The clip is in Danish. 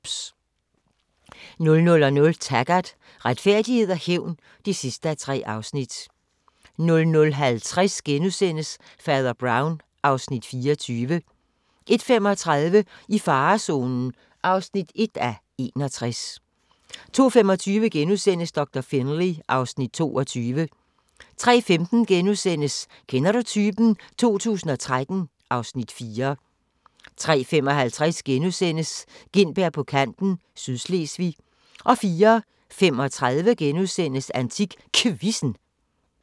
00:00: Taggart: Retfærdighed og hævn (3:3) 00:50: Fader Brown (Afs. 24)* 01:35: I farezonen (1:61) 02:25: Doktor Finlay (Afs. 22)* 03:15: Kender du typen? 2013 (Afs. 4)* 03:55: Gintberg på kanten - Sydslesvig * 04:35: AntikQuizzen *